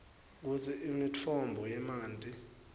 kutsi imitfombo yemanti